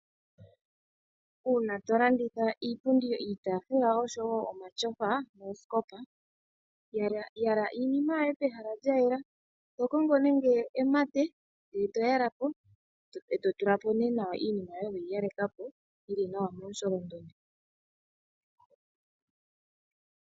Uuna to landitha iipundi, iitaafula oshowo omatyofa noosikopa, yala iinima yoye pehala lyayela, to kongo nenge emate ndele to yala po eto tula po nee nawa iinima yoye weyi yeleka po ti momusholondondo.